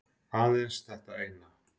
Aðeins þetta eina